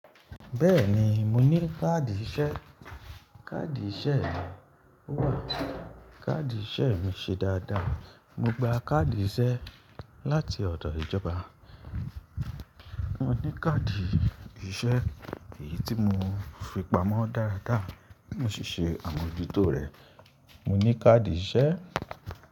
Bẹ́ẹ̀ni, mo ní káàdì ìṣe. Káàdì ìṣe mi wà. Káàdì ìṣe mi ṣe dáadáa. Mo gba káàdì ìṣe láti ọ̀dọ̀ ìjọba. Mo ní káàdì ìṣe èyí tí mo fi pamọ́ dáradára. Mò si ṣe é amójútó rẹ̀. Mo ní káàdì ìṣe.